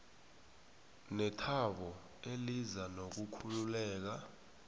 nethabo eliza nokukhululeka